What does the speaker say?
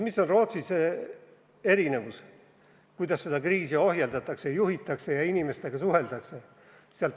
Mis on Rootsis erinevus, kuidas seda kriisi ohjeldatakse, juhitakse ja inimestega suheldakse?